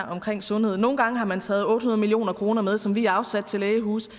omkring sundhed nogle gange har man taget otte hundrede million kroner med som vi afsatte til lægehuse